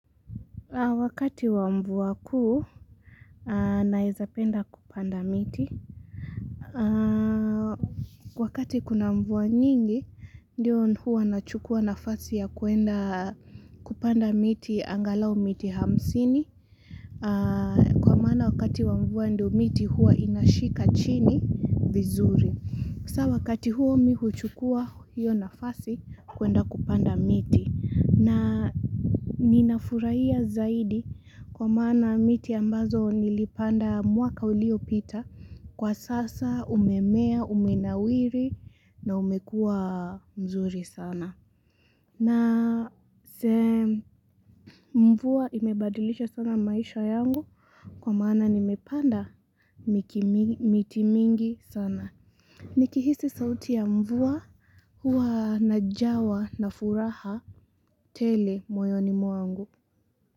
Wakati wa mvua kuu, naeza penda kupanda miti. Wakati kuna mvua nyingi, ndio huwa nachukua nafasi ya kuenda kupanda miti, angalau miti hamsini. Kwa maana wakati wa mvua ndio miti hua inashika chini vizuri. Hasa wakati huo mimi huchukua hiyo nafasi, kuenda kupanda miti. Na ninafurahia zaidi kwa manaa miti ambazo nilipanda mwaka uliopita kwa sasa umemea umenawiri na umekua mzuri sana. Na mvua imebadilisha sana maisha yangu kwa maana nimepanda miti mingi sana. Nikihisi sauti ya mvua, hua najawa na furaha tele moyoni mwangu.